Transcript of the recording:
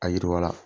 A yiriwala